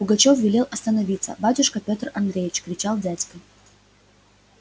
пугачёв велел остановиться батюшка петр андреич кричал дядька